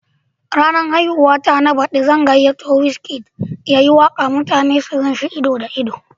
A ranar haihuwa na baɗi zan gayyato Wizkid ya yi waka mutane su gan shi ido da ido.